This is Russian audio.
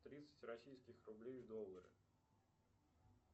тридцать российских рублей в доллары